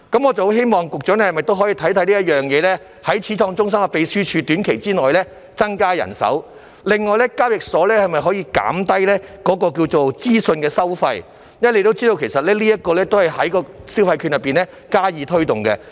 我希望局長可否審視這件事，在短期內增加始創中心秘書處的人手，另外交易時可否減低資訊收費，因為，大家也知道，其實這也是藉着消費券計劃加以推動的。